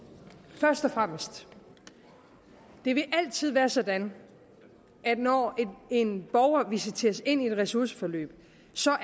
først og fremmest det vil altid være sådan at når en borger visiteres ind i et ressourceforløb